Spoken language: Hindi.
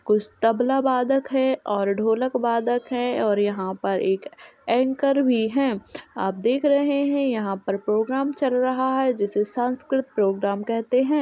कुछ तबला वादक हैं और ढोलक वादक हैं और यहाँ पर एक एंकर भी है। आप देख रहे हैं यहाँ पर प्रोग्राम चल रहा है जिसे सांस्कृत प्रोग्राम कहते हैं।